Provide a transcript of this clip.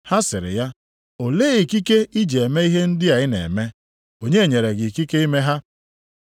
Ha sịrị ya, “Olee ikike i ji eme ihe ndị a ị na-eme? Onye nyere gị ikike ime ha?”